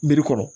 Miiri kɔrɔ